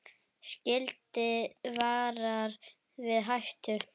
Skilti varar við hættum.